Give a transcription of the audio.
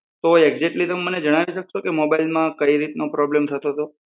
તો એક્ઝેટલી તમે મને જણાવી શકશો કે મોબાઈલમાં કઈ રીતનો પ્રોબ્લમ થતો તો?